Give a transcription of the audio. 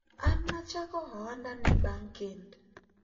an nachako ohanda ni bang kend